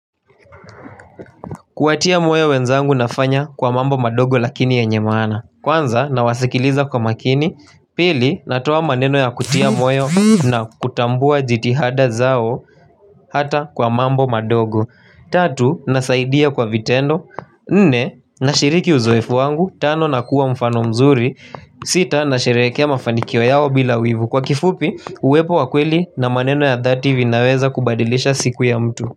Kuwatia moyo wenzangu nafanya kwa mambo madongo lakini yenye maana. Kwanza na wasikiliza kwa makini. Pili natoa maneno ya kutia moyo na kutambua jitihada zao hata kwa mambo madogo. Tatu nasaidia kwa vitendo. Nne na shiriki uzowefu wangu. Tano na kuwa mfano mzuri. Sita na sherehekea mafanikio yao bila wivu. Kwa kifupi uwepo wakweli na maneno ya dhati vinaweza kubadilisha siku ya mtu.